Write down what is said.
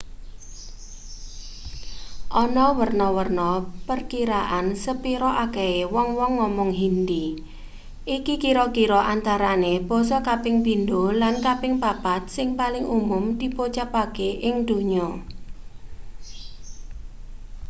ana werna-werna perkiraan sepira akehe wong-wong ngomong hindi iki kira-kira antarane basa kaping pindho lan kaping papat sing paling umum dipocapake ing donya